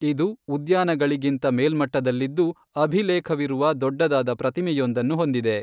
ಇದು ಉದ್ಯಾನಗಳಿಗಿಂತ ಮೇಲ್ಮಟ್ಟದಲ್ಲಿದ್ದು ಅಭಿಲೇಖವಿರುವ ದೊಡ್ಡದಾದ ಪ್ರತಿಮೆಯೊಂದನ್ನು ಹೊಂದಿದೆ.